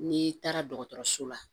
N'i taara dɔgɔtɔrɔso la